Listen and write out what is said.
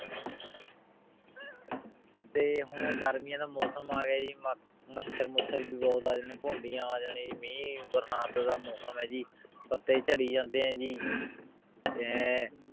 ਤੇ ਹੁਣ ਗਰ੍ਮਿਯਾਂ ਦਾ ਮੋਸਮ ਆਗਯਾ ਜੀ ਮਚਾਰ ਮੁਚਾਰ ਵੀ ਬੋਹਤ ਆ ਪੋੰਦਿਯਾਂ ਆ ਜਾਣੀ ਜੀ ਮੀਹ ਬਰਸਾਤ ਦਾ ਮੋਸਮ ਆਯ ਜੀ ਪਟੀ ਚਾਰੀ ਜਾਂਦੇ ਆਯ ਜੀ ਤੇ